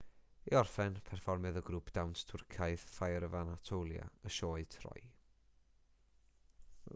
i orffen perfformiodd y grŵp dawns twrcaidd fire of anatolia y sioe troy